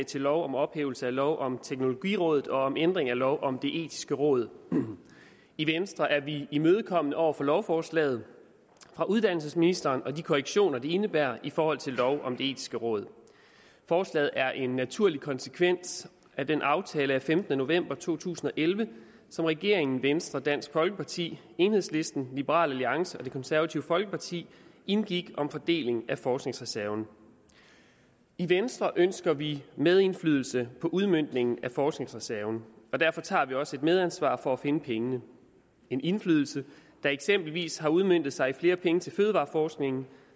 til lov om ophævelse af lov om teknologirådet og om ændring af lov om det etiske råd i venstre er vi imødekommende over for lovforslaget fra uddannelsesministeren og de korrektioner det indebærer i forhold til lov om det etiske råd forslaget er en naturlig konsekvens af den aftale af femtende november to tusind og elleve som regeringen venstre dansk folkeparti enhedslisten liberal alliance og det konservative folkeparti indgik om fordeling af forskningsreserven i venstre ønsker vi medindflydelse på udmøntningen af forskningsreserven og derfor tager vi også et medansvar for at finde pengene en indflydelse der eksempelvis har udmøntet sig i flere penge til fødevareforskningen